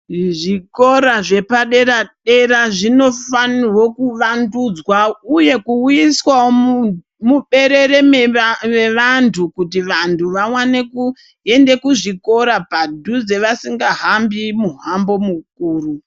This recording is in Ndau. Muzvikora zvepadera dera zvinofanirwa kuwandudzwa uye kuuyiswawo muntu muberere revantu kuti vantu vawane kuenda kuzvikora padhuze vasingahambi vahambi mukuru.